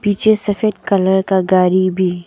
पीछे सफेद कलर का गाड़ी भी--